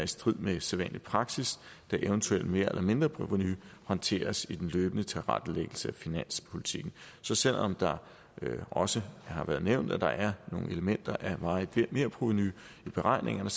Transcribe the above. strid med sædvanlig praksis da et eventuelt mer eller mindreprovenu håndteres i den løbende tilrettelæggelse af finanspolitikken så selv om det også har været nævnt at der er nogle elementer af varigt merprovenu i beregningerne